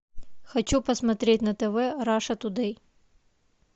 хочу посмотреть на тв раша тудей